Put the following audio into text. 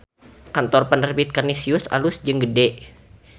Kantor Penerbit Kanisius alus jeung gede